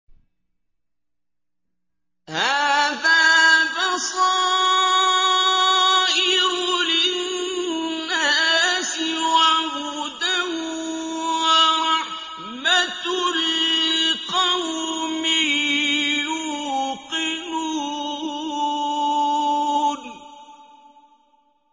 هَٰذَا بَصَائِرُ لِلنَّاسِ وَهُدًى وَرَحْمَةٌ لِّقَوْمٍ يُوقِنُونَ